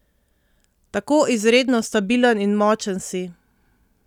Tako izredno stabilen in močen si!